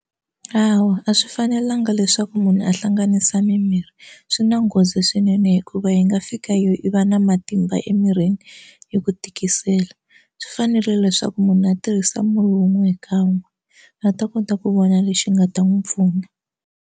Hawa a swi fanelanga leswaku munhu a hlanganisa mimirhi swi na nghozi swinene hikuva yi nga fika yo i va na matimba emirhini yi ku tikisela swi fanerile leswaku munhu a tirhisa murhi wun'we hi kan'we a ta kota ku vona lexi nga ta n'wi pfuna.